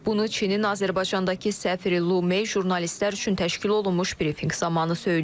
Bunu Çinin Azərbaycandakı səfiri Lu Mei jurnalistlər üçün təşkil olunmuş brifinq zamanı söyləyib.